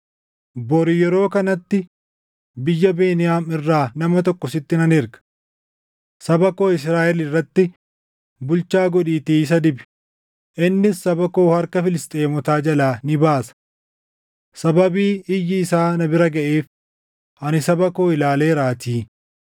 “Bori yeroo kanatti biyya Beniyaam irraa nama tokko sitti nan erga. Saba koo Israaʼel irratti bulchaa godhiitii isa dibi; innis saba koo harka Filisxeemotaa jalaa ni baasa. Sababii iyyi isaa na bira gaʼeef, ani saba koo ilaaleeraatii.”